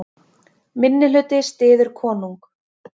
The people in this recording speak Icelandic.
Minnihluti styður konung